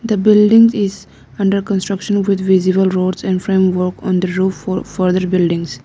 the building is under construction with visible roads and framework on the roof for further buildings.